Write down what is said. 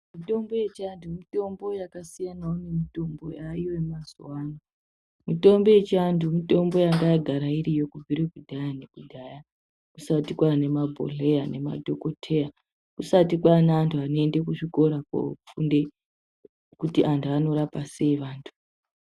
Mitombo yechiantu mitombo yakasiyanawo nemitombo yemazuva ano . Mitombo yechiantu mitombo yanga yagara iriyo kubvire kudhaya nekudhaya kusati kwane mabhodhleya nemadhokoteya kusati kwane antu anoenda kuchikora kofunde kuti antu anorapwa sei.